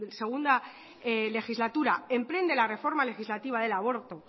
segunda legislatura emprende de la reforma legislativa del aborto